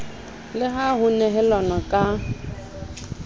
le ha ho nehelanwa ka